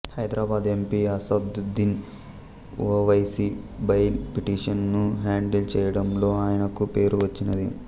Hyderabad MP Asaduddin Owaisi bail petition ను handle చేయడంలో ఆయనకు పేరు వచ్చినది